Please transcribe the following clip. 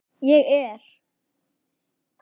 Ég er.